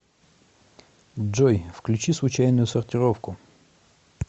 джой включи случайную сортировку